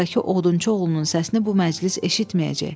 Buradakı odunçu oğlunun səsini bu məclis eşitməyəcək.